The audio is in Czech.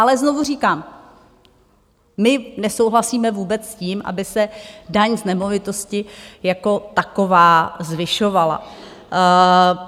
Ale znovu říkám, my nesouhlasíme vůbec s tím, aby se daň z nemovitosti jako taková zvyšovala.